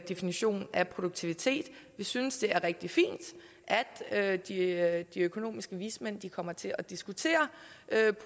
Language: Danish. definition af produktivitet vi synes det er rigtig fint at de at de økonomiske vismænd kommer til at diskutere